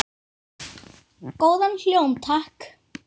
Góðan hljóm, takk!